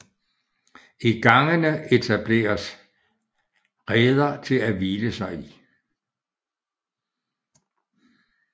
I gangene etableres reder til at hvile sig i